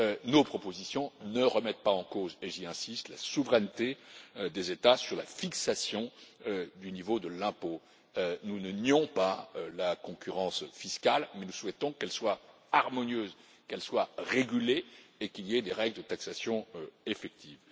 Nos propositions ne remettent pas en cause, j'insiste, la souveraineté des États sur la fixation du niveau de l'impôt nous ne nions pas la concurrence fiscale, mais nous souhaitons qu'elle soit harmonieuse, qu'elle soit régulée et qu'il y ait des règles de taxation effective.